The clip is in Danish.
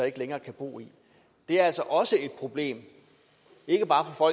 ikke længere kan bo i det er altså også et problem ikke bare for